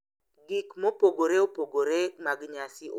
gik mopogore opogore mag nyasi owuon.